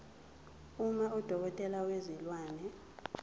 uma udokotela wezilwane